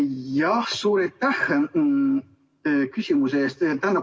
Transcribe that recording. Jah, suur aitäh küsimuse eest!